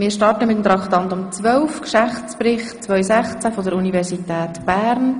Wir starten mit Traktandum 12, dem Geschäftsbericht 2016 der Universität Bern.